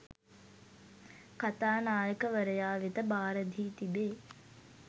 කථානායකවරයා වෙත භාරදී තිබේ